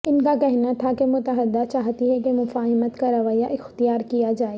ان کا کہنا تھا کہ متحدہ چاہتی ہے کہ مفاہمت کا رویہ اختیار کیا جائے